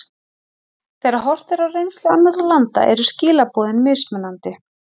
Þegar horft er á reynslu annarra landa eru skilaboðin mismunandi.